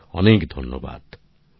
অনেক অনেক ধন্যবাদ